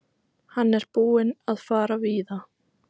Hann er búinn að fara víða.